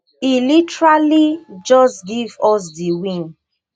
e literally just give us di win